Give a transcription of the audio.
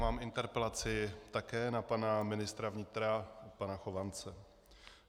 Mám interpelaci také na pana ministra vnitra pana Chovance.